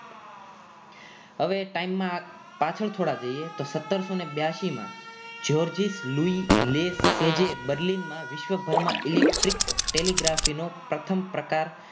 હવે time માં પાછળ થોડા જઈએ તો સતારશો બ્યાશી માં Georges Louis Leclerc જે berlin મા વિશ્વભરમાં electric telegraphy નો પ્રથમ પ્રકાર